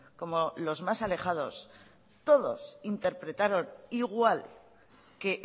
como los más alejados todos interpretaron igual que